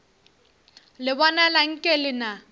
le bonala nke le na